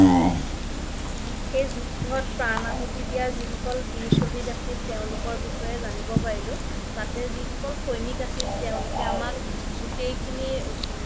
সেই যুদ্ধত প্ৰান আহুতি দিয়া যি সকল বিৰ চহিদ আছিল তেওলোকৰ বিষয়ে জানিব পাৰিলো তাতে যি সকল সৈনিক আছিল তেওলোকে আমাক গুতেই খিনি